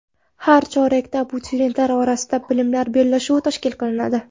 Har chorakda abituriyentlar orasida bilimlar bellashuvi tashkil qilinadi.